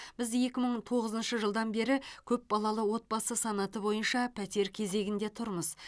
біз екі мың тоғызыншы жылдан бері көпбалалы отбасы санаты бойынша пәтер кезегінде тұрмыз